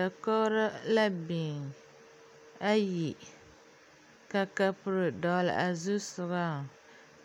Dakogro la biŋ ayi ka kapuro dɔgle a zusoga